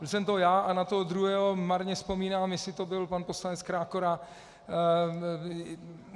Byl jsem to já a na toho druhého marně vzpomínám, jestli to byl pan poslanec Krákora.